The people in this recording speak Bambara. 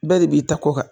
Bɛɛ de b'i ta kɔ kan